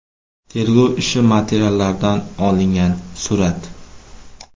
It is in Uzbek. Tergov ishi materiallaridan olingan surat.